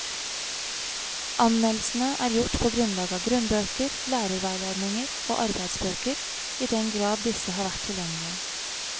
Anmeldelsene er gjort på grunnlag av grunnbøker, lærerveiledninger og arbeidsbøker i den grad disse har vært tilgjengelige.